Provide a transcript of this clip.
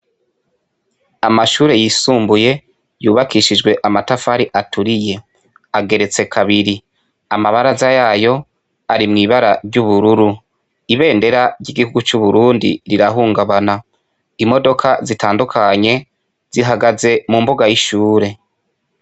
Amashure yisumbuye yubakishijwe amatafari aturiye ageretse kabiri amabaraza yayo ari mw'ibara ry'ubururu ibendera ry'igihugu c'uburundi rirahungabana imodoka zitandukanye zihagaze mu mbuga y'ishure.